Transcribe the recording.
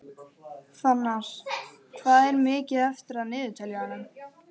Fannar, hvað er mikið eftir af niðurteljaranum?